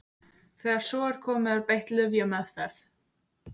Þegar svo er komið er beitt lyfjameðferð.